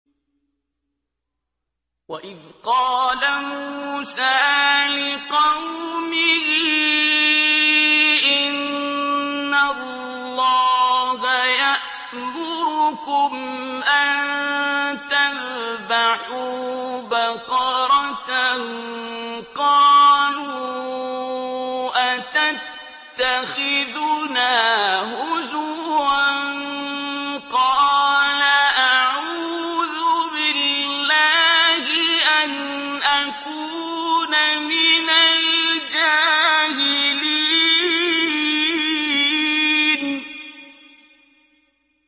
وَإِذْ قَالَ مُوسَىٰ لِقَوْمِهِ إِنَّ اللَّهَ يَأْمُرُكُمْ أَن تَذْبَحُوا بَقَرَةً ۖ قَالُوا أَتَتَّخِذُنَا هُزُوًا ۖ قَالَ أَعُوذُ بِاللَّهِ أَنْ أَكُونَ مِنَ الْجَاهِلِينَ